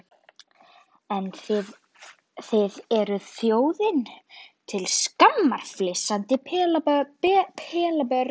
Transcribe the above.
En þið þið eruð þjóðinni til skammar, flissandi pelabörn.